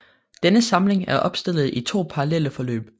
Denne samling er opstillet i to parallelle forløb